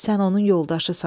Sən onun yoldaşısan.